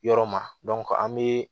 Yɔrɔ ma an bɛ